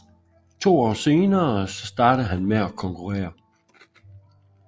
To år senere så startede han med at konkurrere